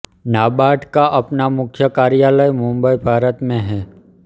नाबार्ड का अपना मुख्य कार्यालय मुंबई भारत में है